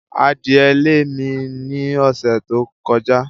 Adìẹ lé mi ní ọ̀sẹ̀ tó kọjá.